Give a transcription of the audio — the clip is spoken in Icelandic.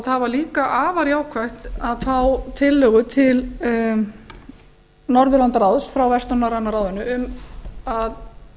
það var líka afar jákvætt að fá tillögu til norðurlandaráðs frá vestnorræna ráðinu um að